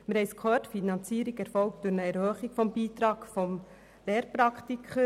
Die Finanzierung erfolgt durch eine Erhöhung des Beitrags der Lehrpraktiker.